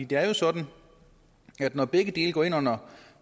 det er jo sådan at når begge dele går ind under